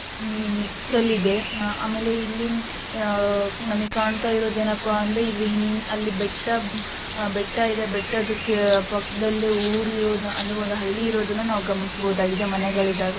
ಮಿ ಮಿಕ್ಸಲ್ ಇದೆ. ಅಹ್ ಆಮೇಲೆ ಇಲ್ಲಿ ಅಹ್ ನಮಗೆ ಕಾಣ್ತಾ ಇರೋದ್ ಏನಪ್ಪಾ ಅಂದ್ರೆ ಇಲ್ಲಿ ಅಲ್ಲಿ ಬೆಟ್ಟ ಬೆಟ್ಟ ಇದೆ. ಬೆಟ್ಟದಕ್ಕೆ ಪಕ್ಕದಲ್ಲೇ ಊರ್ ಇರೋದ ಅಂದ್ರೆ ಒಂದ್ ಹಳ್ಳಿ ಇರೋದನ್ನ ನಾವ್ ಗಮನಿಸಬೋದಾಗಿದೆ ಮನೆಗಳಿದಾವೆ.